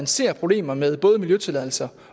ser problemer med både miljøtilladelser